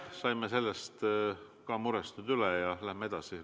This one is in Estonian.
Saime sellest murest üle ja läheme edasi.